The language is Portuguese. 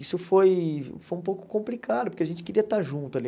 Isso foi foi um pouco complicado, porque a gente queria estar junto ali.